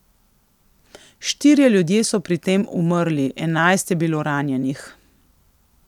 Štirje ljudje so pri tem umrli, enajst je bilo ranjenih.